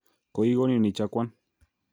Kokikonin ichakwan.